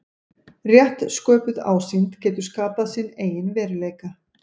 Rétt sköpuð ásýnd getur skapað sinn eigin veruleika.